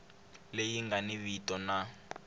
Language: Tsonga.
leyi nga ni vito na